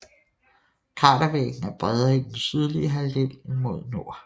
Kratervæggen er bredere i den sydlige halvdel end mod nord